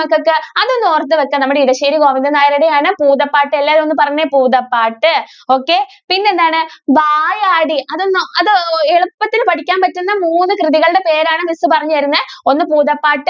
മക്കൾക്ക് അതൊന്ന് ഓർത്ത് വെക്കാ നമ്മുടെ ഇടശ്ശേരി ഗോവിന്ദൻ നായരുടെ ആണ് ഭൂതപാട്ട് എല്ലാരും ഒന്ന് പറഞ്ഞെ ഭൂതപാട്ട്. okay പിന്നെ എന്താണ് വായാടി അത് എന്താ അത് എളുപ്പത്തിൽ പഠിക്കാൻ പറ്റുന്ന മൂന്ന് കൃതികളുടെ പേരാണ് miss പറഞ്ഞു തരുന്നേ ഒന്ന് ഭൂതപാട്ട്